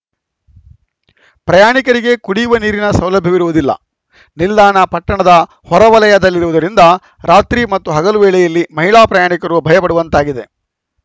ಪ್ರಯಾಣಿಕರಿಗೆ ಕುಡಿಯುವ ನೀರಿನ ಸೌಲಭ್ಯವಿರುವುದಿಲ್ಲ ನಿಲ್ದಾಣ ಪಟ್ಟಣದ ಹೊರವಲಯದಲ್ಲಿರುವುದರಿಂದ ರಾತ್ರಿ ಮತ್ತು ಹಗಲುವೇಳೆಯಲ್ಲಿ ಮಹಿಳಾ ಪ್ರಯಾಣಿಕರು ಭಯ ಪಡುವಂತಾಗಿದೆ